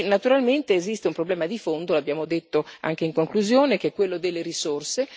Naturalmente esiste un problema di fondo l'abbiamo detto anche in conclusione che è quello delle risorse.